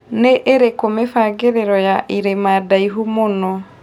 nĩ ĩrĩkũ mĩbangĩriro ya ĩrima ndaihu mũno